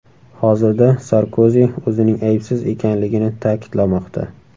Hozirda Sarkozi o‘zining aybsiz ekanligini ta’kidlamoqda.